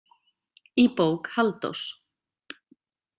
Í bók Halldórs.